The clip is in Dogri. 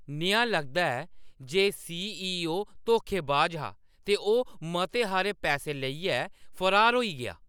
नेहा लगदा ऐ जे सी.ई.ओ. धोखेबाज हा ते ओह् मते हारे पैसै लेइयै फरार होई गेआ ।